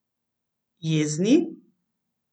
Jezni?